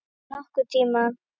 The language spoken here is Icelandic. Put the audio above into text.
Aldrei nokkurn tímann.